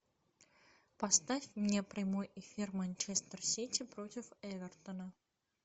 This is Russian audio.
поставь мне прямой эфир манчестер сити против эвертона